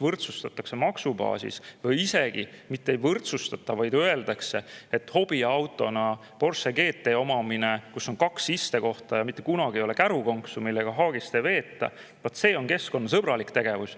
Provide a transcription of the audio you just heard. võrdsustatakse maksubaasis või isegi mitte ei võrdsustata, vaid öeldakse, et hobiautona Porsche GT omamine, kus on kaks istekohta ja mitte kunagi ei ole kärukonksu, millega haagist vedada, vaat see on keskkonnasõbralik tegevus.